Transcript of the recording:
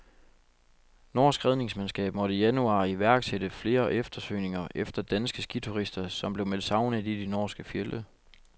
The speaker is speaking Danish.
Norsk redningsmandskab måtte i januar iværksætte flere eftersøgninger efter danske skiturister, som blev meldt savnet i de norske fjelde.